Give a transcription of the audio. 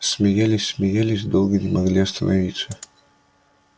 смеялись смеялись долго не могли остановиться